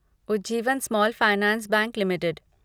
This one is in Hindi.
Ujjivan small finance bank limited